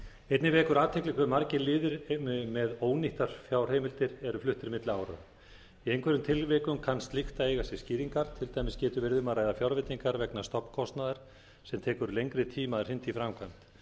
einnig vekur athygli hve margir liðir með ónýttar fjárheimildir eru fluttir milli ára í einhverjum tilvikum kann slíkt að eiga sér skýringar til dæmis getur verið um að ræða fjárveitingar vegna stofnkostnaðar sem tekur lengri tíma að hrinda í framkvæmd